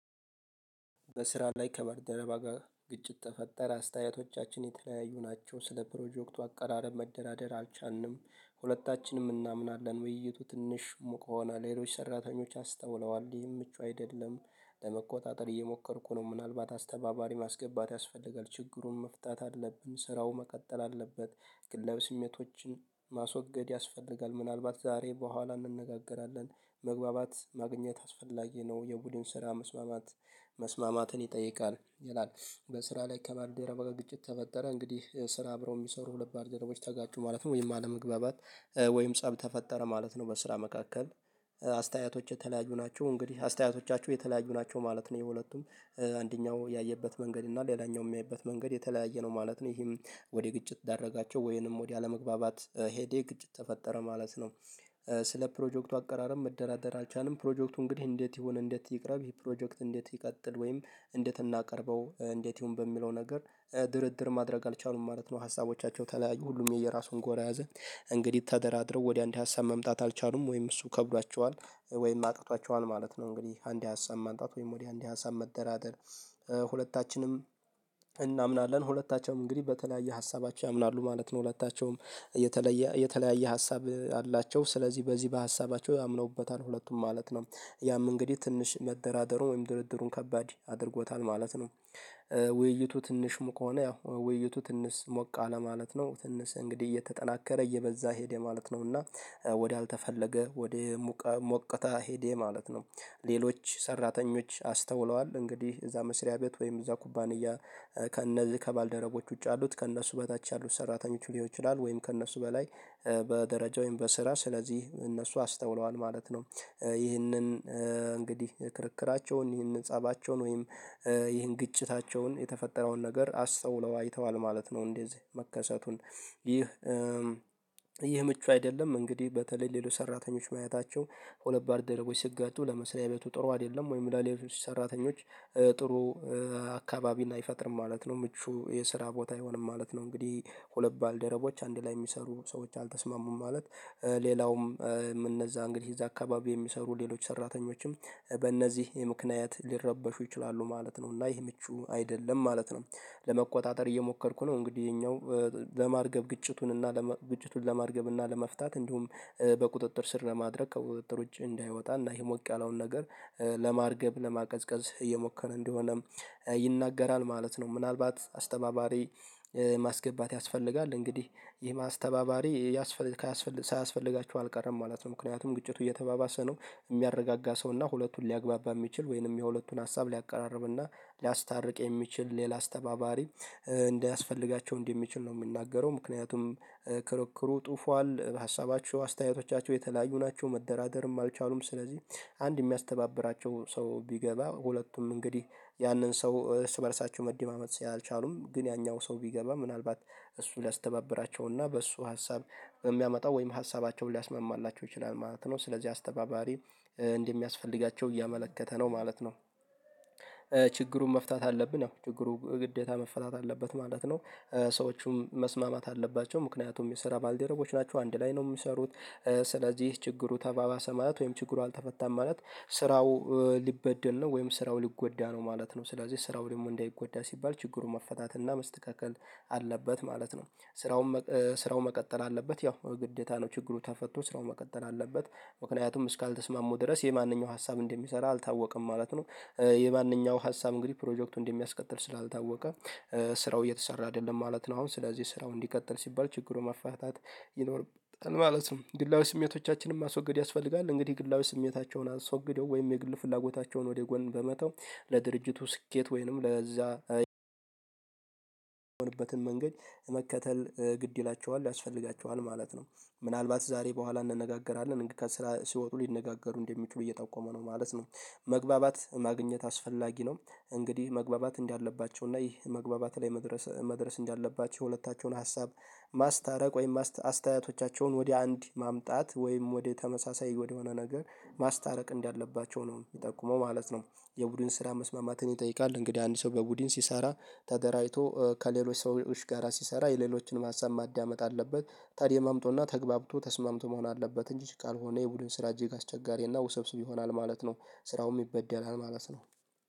በስራ ላይ ከባልደረባ ጋር ግጭት ተፈጠረ አስተያየቶቻችን የተለያዩ ናቸው። ስለ ፕሮጀክቱ አቀራረብ መደራደር አልቻንም። ሁለታችንም እናምናለን ውይይቱ ትንሽ ሙቅ ሆነ። ሌሎች ሰራተኞች አስተውለዋል ይሄን ምቹ አይደለም። ለመቆጣጠር እየሞከርኩ ነው። ምናልባት አስተባባሪ ማስገባት ያስፈልጋል ችግሩን መፍታት አለብን። ስራው መቀጠል አለበት። ግላዊ ስሜቶችን ማስወገድ ያስፈልጋል። ምናልባት ዛሬ በኋላ እንነጋገራለን። መግባባት ማግኘት አስፈላጊ ነው። የቡድን ስራ መስማማት መስማማትን ይጠይቃል ይላል። በስራ ላይ ከባልደረባ ግጭት ተፈጠረ እንግዲህ ስራ አብረው የሚሰሩ ሁለት ባልደረቦች ተጋጩ ማለት ነው። ወይም አለመግባባት ወይም ፀብ ተፈጠረ ማለት ነው። በስራ መካከል አስተያየቶች የተለያዩ ናቸው እንግዲህ አስተያየቶቻችው የተለያዩ ናቸው ማለት ነው። የሁለቱም አንደኛው ያየበት መንገድ እና ሌላኛው የሚያይበት መንገድ የተለያየ ነው ማለት ነው። ይሄም ወደ ግጭት ዳረጋቸው ወይንም ወደ አለመግባባት ሄደ ግጭት ተፈጠረ ማለት ነው። ስለ ፕሮጀክቱ አቀራረብ መደራደር አልቻልንም። ፕሮጀክቱ እንግዲህ እንዴት ይሁን እንዴት ይቅረብ በዚህ ፕሮጀክት እንዴት ይቀጥል ወይም እንዴት እናቀርበው እንዴት ይሁን በሚለው ነገር ድርድር ማድረግ አልቻሉም ማለት ነው። ሀሳቦቻቸው ተለያዩ ሁሉም የየራሱን ጎራ ያዘ። እንግዲህ ተደራድረው ወደ አንድ ሀሳብ መምጣት አልቻሉም ወይም እሱ ከብዷቸዋል። ወይም አቅቷቸዋል ማለት ነው። እንግዲህ አንድ ሀሳብ ማምጣት ወይም ወደ አንድ ሀሳብ መደራደር። ሁለታችንም እናምናለን ሁለታቸውም እንግዲህ በተለያየ ሀሳባቸው ያምናሉ ማለት ነው። ሁለታቸውም የተለየ የተለያየ ሀሳብ አላቸው ስለዚህ በዚህ በሀሳባቸው አምነውበታል ሁለቱም ማለት ነው። ያም እንግዲህ ትንሽ መደራደሩን ወይም ድርድሩን ከባድ አድርጎታል ማለት ነው። ውይይቱ ትንሽም ከሆነ ያው ውይይቱ ትንሽ ሞቅ አለ ማለት ነው። ትንሽ እንግዲህ እየተጠናከረ እየበዛ ሄደ ማለት ነውና። ወደ አልተፈለገ ወደ ሙቀ ሞቅታ ሄዴ ማለት ነው። ሌሎች ሰራተኞች አስተውለዋል እንግዲህ እዛ መስሪያ ቤት ወይም እዛ ኩባንያ። ከእነዚህ ከባልደረቦች ውጪ ያሉት ከእነሱ በታች ያሉት ሰራተኞች ሊሆን ይችላል ወይም ከእነሱ በላይ በደረጃ ወይንም በስራ ስለዚህ እነሱ አስተውለዋል ማለት ነው። ይህንን እንግዲህ ክርክራቸውን ይህንን ፀባቸውን ወይም ይህን ግጭታቸውን የተፈጠረውን ነገር አስተውለው አይተዋል ማለት ነው። እዚህ መከሰቱን። ይህ ይህ ምቹ አይደለም። እንግዲህ በተለይ ሌሎች ሰራተኞች ማየታቸው ሁለት ባልደረቦች ስጋጩ ለመስሪያ ቤቱ ጥሩ አይደለም። ወይም ለሌሎች ሰራተኞች ጥሩ አካባቢን አይፈጥርም ማለት ነው። ምቹ የስራ ቦታ አይሆንም ማለት ነው። እንግዲህ ሁለት ባልደረቦች አንድ ላይ የሚሰሩ ሰዎች አልተስማሙም። ማለት ሌላውም እነዛ እንግዲህ እነዛ አካባቢ የሚሰሩ ሌሎች ሰራተኞችም በእነዚህ የምክንያት ሊረበሹ ይችላሉ ማለት ነው። እና ይህ ምቹ አይደለም ማለት ነው። ለመቆጣጠር እየሞከርኩ ነው። እንግዲህ ይሄኛው ለማርገብ ግጭቱን እና ግጭቱን ለማርገብ እና ለመፍታት እንዲሁም በቁጥጥር ስር ለማድረግ ከቁጥጥር ውጪ እንዳይወጣ እና ይህ ሞቅ ያለውን ነገር ለማርገብ ለማቀዝቀዝ እየሞከረ እንደሆነም ይናገራል ማለት ነው። ምናልባት አስተባባሪ ማስገባት ያስፈልጋል እንግዲህ ይህም ስተባባሪ ያስፈልግ ሳያስፈልጋቸው አልቀረም ማለት ነው። ምክንያቱም ግጭቱ እየተባባሰ ነው። የሚያረጋጋ ሰው እና ሁለቱን ሊያግባባ የሚችል ወይንም የሁለቱን ሀሳብ ሊያቀራርብ እና ሊያስታርቅ የሚችል ሌላ አስተባባሪ እንዳያስፈልጋቸው እንደሚችል ነው። የሚናገረው ምክንያቱም ክርክሩ ጡፏል በሀሳባቸው አስተያየቶቻቸው የተለያዩ ናቸው መደራደርም አልቻሉም። ስለዚህ አንድ የሚያስተባብራቸው ሰው ቢገባ ሁለቱም እንግዲህ ያንን ሰው እርስ በእርሳቸው መደማመጥ ስላልቻሉም ግን ያኛው ሰው ቢገባ ምናልባት እሱ ሊያስተባብራቸውና በሱ ሀሳብ የሚያመጣው ወይም ሀሳባቸውን ሊያስመማማላቸው ይችላል ማለት ነው። ስለዚህ አስተባባሪ እንደሚያስፈልጋቸው እያመለከተ ነው ማለት ነው። ችግሩን መፍታት አለብን ያው ችግሩ ግዴታ መፈታት አለበት ማለት ነው። ሰዎቹም መስማማት አለባቸው ምክንያቱም የሰራ ባልደረቦች ናቸው አንድ ላይ ነው የሚሰሩት። ስለዚህ ችግሩ ተባባሰ ማለት ወይም ችግሩ አልተፈታም ማለት ስራው ሊበደል ነው ወይም ስራው ሊጎዳ ነው ማለት ነው። ስለዚህ ስራው ደግሞ እንዳይጎዳ ሲባል ችግሩ መፈታትና መስተካከል አለበት ማለት ነው። ስራውም ስራው መቀጠል አለበት ያው ግዴታ ነው ችግሩ ተፈቶ ስራው መቀጠል አለበት። ምክንያቱም እስካልተስማሙ ድረስ የማንኛው ሀሳብ እንደሚሰራ አልታወቀም ማለት ነው። የማንኛው ሀሳብ እንግዲህ ፕሮጀክቱን እንደሚያስቀጥል ስላልታወቀ ስራው እየተሰራ አይደለም ማለት ነው። አሁን ስለዚህ ስራው እንዲቀጥል ሲባል ችግሩ መፋታት ይኖርብታል ማለት ነው። ግላዊ ስሜቶቻችን ማስወግድ ያስፈልጋል እንግዲህ ግላዊ ስሜታቸውን አስወግደው ወይም የግል ፍላጎታቸውን ወደ ጎን በመተው ለድርጅቱ ስኬት ወይንም ለዛ የሆኑበትን መንገድ መከተል ግድ ይላቸዋል ያስፈልጋቸዋል ማለት ነው። ምናልባት ዛሬ በኋላ እንነጋገራለን ከስራ ሲወጡ ሊነጋገሩ እንደሚችሉ እየጠቆሙ ነው ማለት ነው። መግባባት ማግኘት አስፈላጊ ነው። እንግዲህ መግባባት እንዳለባቸው እና ይህ መግባባት ላይ መድረስ መድረስ እንዳለባች የሁለታቸውን ሀሳብ ማስታረቅ ወይም አስተያየቶቻቸውን ወደ አንድ ማምጣት ወይም ወደ ተመሳሳይ ወደ ሆነ ነገር ማስታረቅ እንዳለባቸው ነው የሚጠቁመው ማለት ነው። የቡድን ስራ መስማማትን ይጠይቃል። እንግዲህ አንድ ሰው በቡድን ሲሰራ ተደራጅቶ ከሌሎች ሰዎች ጋራ ሲሰራ የሌሎችንም ሀሳብ ማዳመጥ አለበት ተደማምጦና ተግባብቶ ተስማምቶ መሆን አለበት እንጂ ካልሆነ የቡድን ስራ እጅግ አስቸጋሪና ውሰብስብ ይሆናል ማለት ነው። ስራውም ይበደላል ማለት ነው።